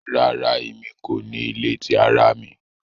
Rara, Emi ko ni ile ti ara mi